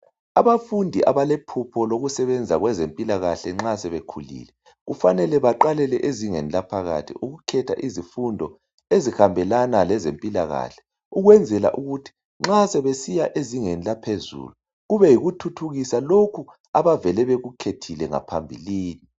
abafundi abalephupho lokusebenza kwezempilakahle nxa sebekhulile kufanele baqalele ezingeni laphakathi ukukhetha izifundo ezihabelana lezempilakahle ukwenzela ukuthi ma besiya ezingeni laphezulu kube yikuthuthukisa lokho abavele bekukhethile ngaphambilini